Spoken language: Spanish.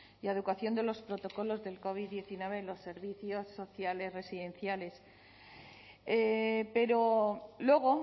y adecuación de los protocolos del covid diecinueve en los servicios sociales residenciales pero luego